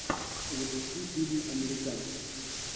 запусти фильм американцы